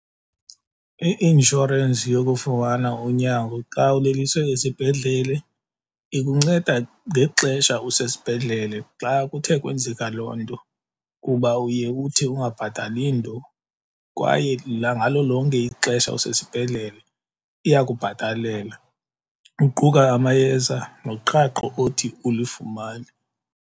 I-inshorensi yokufumana unyango xa uleliswe esibhedlele ikunceda ngexesha usesibhedlele xa kuthe kwenzeka loo nto kuba uye uthi ungabhatali nto. Kwaye ngalo lonke ixesha usesibhedlele iyakubhatalela uquka amayeza noqhaqho othi ulifumane.